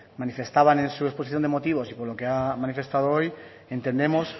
manifestaban en su exposición de motivos y por lo que ha manifestado hoy entendemos